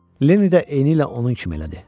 Lenni də eniylə onun kimi elədi.